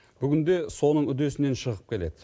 бүгінде соның үдесінен шығып келеді